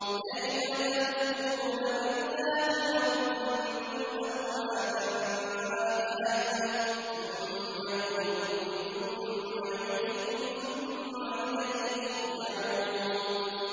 كَيْفَ تَكْفُرُونَ بِاللَّهِ وَكُنتُمْ أَمْوَاتًا فَأَحْيَاكُمْ ۖ ثُمَّ يُمِيتُكُمْ ثُمَّ يُحْيِيكُمْ ثُمَّ إِلَيْهِ تُرْجَعُونَ